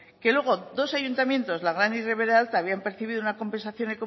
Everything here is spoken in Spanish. que luego dos ayuntamientos y ribera alta habían percibido una compensación